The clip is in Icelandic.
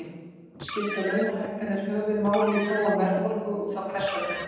Skipta launahækkanir höfuðmáli í þróun verðbólgu og þá hvers vegna?